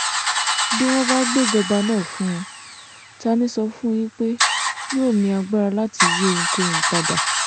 bí wọ́n bá gbéjọba náà fún un ta ní sọ fún yín pé yóò ní agbára láti yí ohunkóhun padà